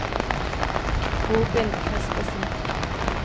Robin Kaspersen